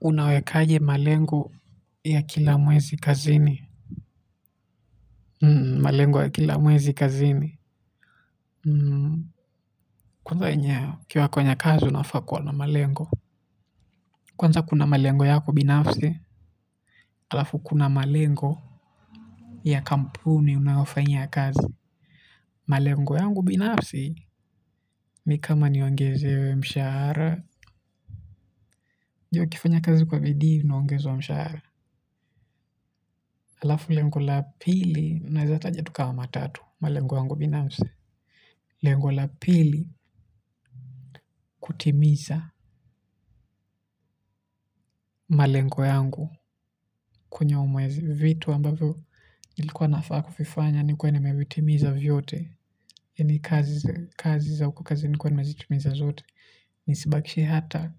Unawekaje malengo ya kila mwezi kazini. Malengo ya kila mwezi kazini. Kwanza ukiwa kwenye kazi unafaa kuwa na malengo. Kwanza kuna malengo yako binafsi. Alafu kuna malengo ya kampuni unayofanyia kazi. Malengo yangu binafsi ni kama niongezewe mshahara unajua ukifanya kazi kwa bidii unaongezwa mshahara. Alafu lengo la pili unaeza taja tu kama tatu malengo yangu binafsi. Lengo la pili kutimiza malengo yangu kwenye huu mwezi vitu ambavyo nilikuwa nafaa kuvifanya nikue nimevitimiza vyote kazi nikue nimezitimiza zote nisibakishe hata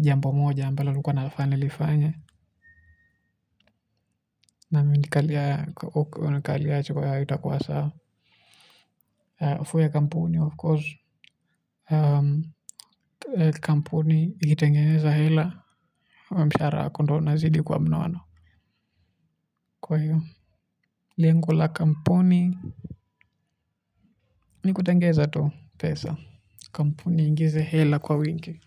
jambo moja ambalo nilikuwa nafaa nilifanye na nikiangalia itakua sawa kampuni of course kampuni ikitengeza hela mshahara wako ndio unazidi kua mnono kwa hivyo lengo la kampuni ni kutengeneza tu pesa kampuni iingze hela kwa wingi.